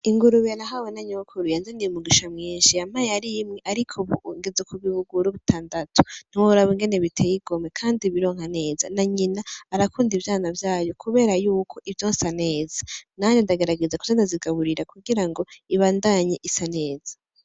Ingurube nahawe na nyokuru yanzaniye umugisha mwinshi, yampaye ar'imwe arik'ubu ngeze ku bibuguru bitandatu ntiworaba ingene biteyigomwe kandi bironka neza, na nyina arakunda ivyana vyayo kubera yuko ivyonsa neza, nanje ndagerageza kuza ndazigaburira kugira ngo ibandanye isa neza.